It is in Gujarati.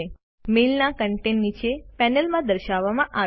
મેઇલના કન્ટેન્ટ નીચેની પેનલમાં દર્શાવવામાં આવે છે